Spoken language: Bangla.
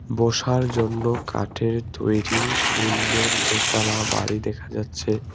বসার জন্য কাঠের তৈরি সুন্দর দোতলা বাড়ি দেখা যাচ্ছে।